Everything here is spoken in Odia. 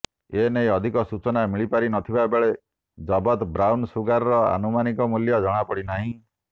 ଏନେଇ ଅଧିକ ସୂଚନା ମିଳିପାରି ନଥିବା ବେଳେ ଜବତ ବ୍ରାଉନ ସୁଗାରର ଆନୁମାନିକ ମୂଲ୍ୟ ଜଣାପଡିନାହିଁ